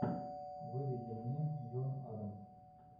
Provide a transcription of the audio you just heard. выведи мне джон адамс